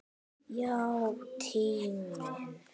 Já, tíminn.